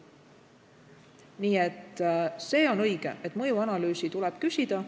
Nii et see on õige, et mõjuanalüüsi tuleb küsida.